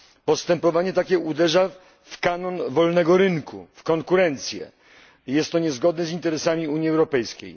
Postępowanie takie uderza w kanon wolnego rynku, w konkurencję, jest to niezgodne z interesami Unii Europejskiej.